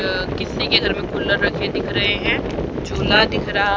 अं किसी के घर में रखा कुलर दिख रहा है झूला दिख रहा --